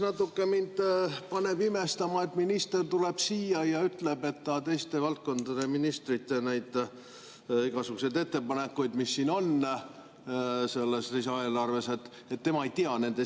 Esiteks, mind paneb natuke imestama, et minister tuleb siia ja ütleb, et ta teiste valdkondade ministrite ettepanekute puhul, mis on selles lisaeelarves, sisu ei tea.